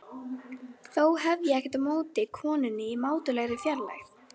Þó hef ég ekkert á móti konunni í mátulegri fjarlægð.